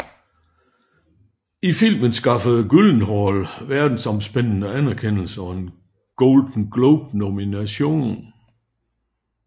Filmen skaffede Gyllenhaal verdensomspændende anerkendelse og en Golden Globe nomination